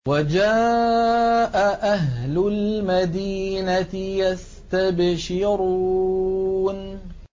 وَجَاءَ أَهْلُ الْمَدِينَةِ يَسْتَبْشِرُونَ